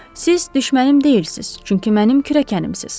Siz düşmənim deyilsiz, çünki mənim kürəkənimsiz.